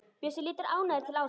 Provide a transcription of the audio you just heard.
Bjössi lítur ánægður til Ásu.